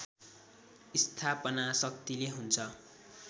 स्थापना शक्तिले हुन्छ